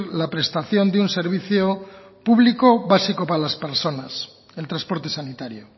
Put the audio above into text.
la prestación de un servicio público básico para las personas el transporte sanitario